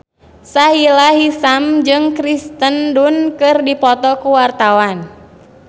Sahila Hisyam jeung Kirsten Dunst keur dipoto ku wartawan